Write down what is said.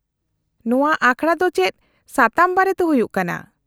-ᱱᱚᱶᱟ ᱟᱠᱷᱲᱟ ᱫᱚ ᱪᱮᱫ ᱥᱟᱛᱟᱢ ᱵᱟᱨᱮᱛᱮ ᱦᱩᱭᱩᱜ ᱠᱟᱱᱟ ?